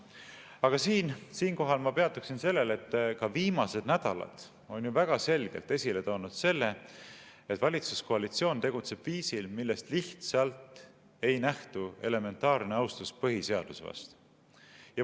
Aga siinkohal ma peatuksin sellel, et viimased nädalad on ju väga selgelt esile toonud, et valitsuskoalitsioon tegutseb viisil, millest lihtsalt ei nähtu elementaarne austus põhiseaduse vastu.